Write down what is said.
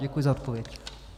Děkuji za odpověď.